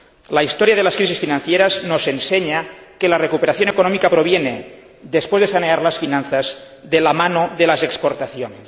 La historia de las crisis financieras nos enseña que la recuperación económica proviene, después de sanear las finanzas, de la mano de las exportaciones.